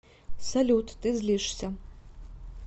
салют ты злишься